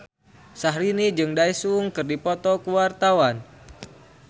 Syahrini jeung Daesung keur dipoto ku wartawan